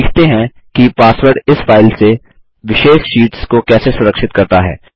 सीखते हैं कि पासवर्ड इस फाइल से विशेष शीट्स को कैसे सुरक्षित करता है